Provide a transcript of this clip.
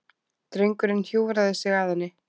Drengur hjúfraði sig að henni.